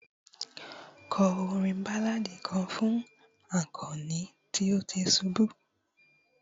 kọ orin balladi kan fún akani tí o ti subu